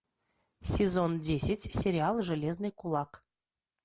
сезон десять сериал железный кулак